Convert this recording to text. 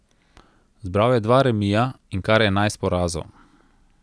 Zbral je dva remija in kar enajst porazov.